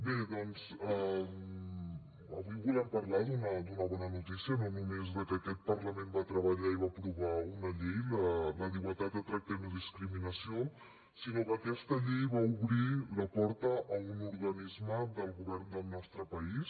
bé doncs avui volem parlar d’una bona notícia no només de que aquest parlament va treballar i va aprovar una llei la d’igualtat de tracte i no discriminació sinó que aquesta llei va obrir la porta a un organisme del govern del nostre país